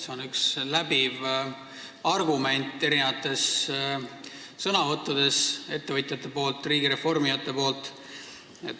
See on üks läbiv argument mitmetes ettevõtjate, riigireformijate sõnavõttudes.